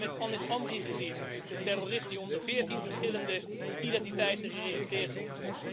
We hebben het met Anis Amri gezien de terrorist die onder 14 verschillende identiteiten geregistreerd stond.